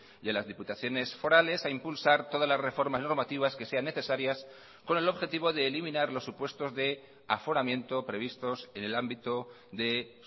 y a las diputaciones forales a impulsar todas las reformas y normativas que sean necesarias con el objetivo de eliminar los supuestos de aforamiento previstos en el ámbito de